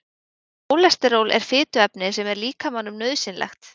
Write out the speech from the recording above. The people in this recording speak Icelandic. Kólesteról er fituefni sem er líkamanum nauðsynlegt.